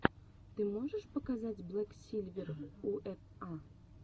ты можешь показать блэк сильвер у эф а